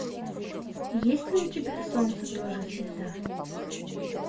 есть ли у тебя солнце тоже звезда